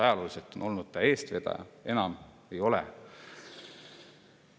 Ajalooliselt on ta olnud eestvedaja, enam ei ole.